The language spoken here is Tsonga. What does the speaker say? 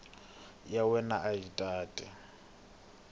ya wena a yi tate